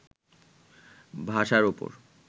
ভাষার উপর